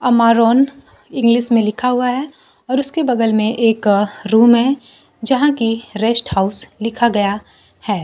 Amaron English में लिखा हुआ है और उसके बगल में एक रूम है जहां की रेस्ट हाउस लिखा गया है।